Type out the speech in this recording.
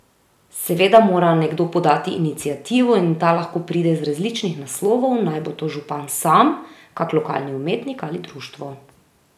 Seveda mora nekdo podati iniciativo in ta lahko pride z različnih naslovov, naj bo to župan sam, kak lokalni umetnik ali društvo.